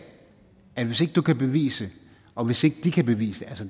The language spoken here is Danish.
at hvis ikke du kan bevise det og hvis ikke de kan bevise